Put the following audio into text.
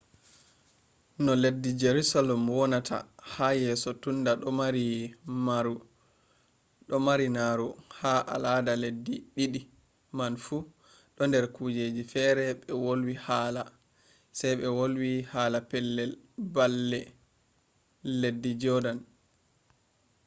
no leddi jaruselem wonata ha yeso tunda ɗo mari naru ha alada leddi ɗiɗi man fu ɗo nder kujeji fere ɓe wolwi haala sai ɓe wolwi hala pellel baalle leddi jodan